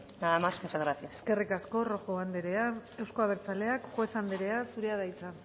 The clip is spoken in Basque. nada más muchas gracias eskerrik asko rojo anderea euzko abertzaleak juez anderea zurea da hitza